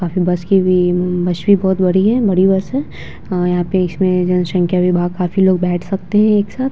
काफी बस की भी हम्म बस भी बोहोत बड़ी है बड़ी बस है। अ यहाँ पे इसमें जनसँख्या भी भा काफी लोग बैठ सकते है एक साथ।